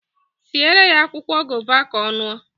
Siere ya akwụkwọ gova ka ọ ṅụọ